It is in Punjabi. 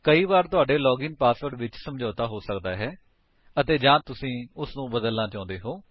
ਕਈ ਵਾਰ ਤੁਹਾਡੇ ਲਾਗਿਨ ਪਾਸਵਰਡ ਵਿੱਚ ਸਮੱਝੌਤਾ ਹੋ ਸਕਦਾ ਹੈ ਅਤੇ ਜਾਂ ਤੁਸੀ ਉਸਨੂੰ ਬਦਲਨਾ ਚਾਹੁੰਦੇ ਹੋ